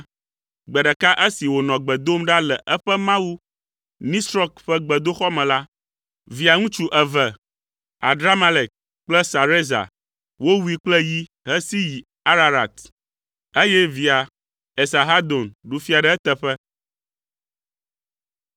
Gbe ɖeka esi wònɔ gbe dom ɖa le eƒe mawu, Nisrɔk ƒe gbedoxɔ me la, via ŋutsu eve, Adramelek kple Sarezer, wowui kple yi hesi yi Ararat eye via Esarhadon ɖu fia ɖe eteƒe.